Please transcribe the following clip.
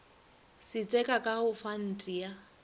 setseka ka go fante ya